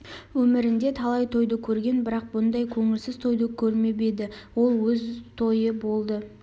өмірінде талай тойды көрген бірақ бұндай көңілсіз тойды көрмеп еді ол өз тойы болды